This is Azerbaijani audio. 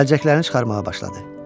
Əlcəklərini çıxarmağa başladı.